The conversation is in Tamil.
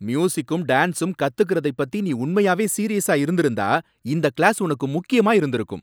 மியூசிக்கும் டான்ஸும் கத்துக்குறதைப் பத்தி நீ உண்மையாவே சீரியஸா இருந்திருந்தா இந்த கிளாஸ் உனக்கு முக்கியமா இருந்திருக்கும்.